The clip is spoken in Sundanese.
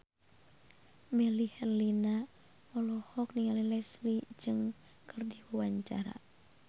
Melly Herlina olohok ningali Leslie Cheung keur diwawancara